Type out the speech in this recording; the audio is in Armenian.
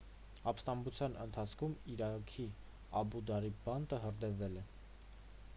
ապստամբության ընթացքում իրաքի աբու ղարիբ բանտը հրդեհվել է